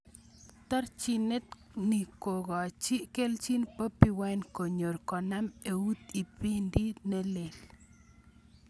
Terchinet ni kokachin kelchin Bobi Wine konyor konam eut ipinda ne lel.